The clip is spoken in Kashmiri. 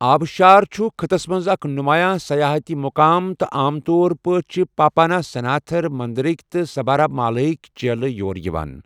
آبشار چھُ خٕطس منٛز اکھ نُمایا سَیاحتی مُقام تہٕ عام طور پٲٹھۍ چھِ پاپاناسناتھر مندرٕک تہٕ سبارِمالا ہٕک چیلہ یوٚر یِوان۔